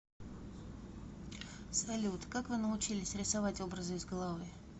салют как вы научились рисовать образы из головы